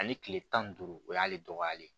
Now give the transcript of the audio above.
Ani kile tan ni duuru o y'ale dɔgɔyalen ye